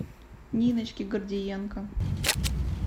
ниночки гордиенко